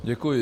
Děkuji.